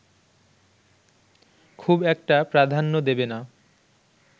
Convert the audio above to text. খুব একটা প্রাধান্য দেবেনা